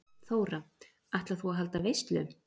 Þóra: Ætlar þú að halda veislu?